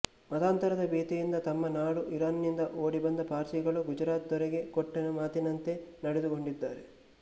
ಮತಾಂತರದ ಭೀತಿಯಿಂದ ತಮ್ಮ ನಾಡು ಇರಾನ್ ನಿಂದ ಓಡಿಬಂದ ಪಾರ್ಸಿಗಳು ಗುಜರಾತ್ ದೊರೆಗೆ ಕೊಟ್ಟ ಮಾತಿನಂತೆ ನಡೆದುಕೊಂಡಿದ್ದಾರೆ